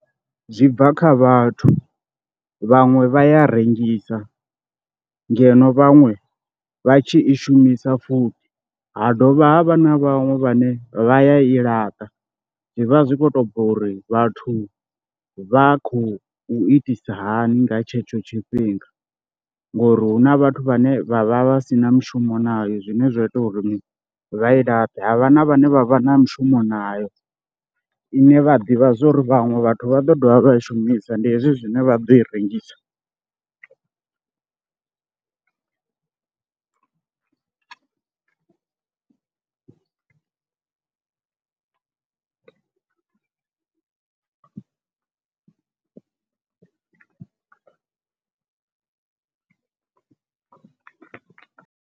Zwi bva kha vhathu, vhaṅwe vha ya rengisa ngeno vhaṅwe vha tshi i shumisa futhi, ha dovha ha vha na vhaṅwe vhane vha ya i laṱa zwi vha zwi khou tou bva uri vhathu vha khou itisa hani nga tshetsho tshifhinga ngori hu na vhathu vhane vha vha vha si na mushumo nayo, zwine zwa ita uri vha i laṱe ha vha na vhane vha vha na mushumo nayo ine vha ḓivha zwa uri vhaṅwe vhathu vha ḓo dovha vha i shumisa ndi hezwi zwine vha ḓo i rengisa.